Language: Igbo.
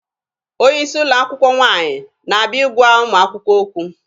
Onye isi ụlọ akwụkwọ nwaanyị na-abịa ịgwa ụmụ akwụkwọ okwu.